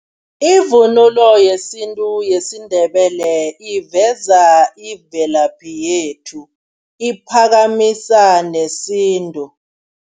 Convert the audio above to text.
Ivunulo yesintu yesiNdebele iveza imvelaphi yethu, iphakamise nesintu.